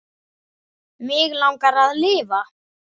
Mig langar að lifa.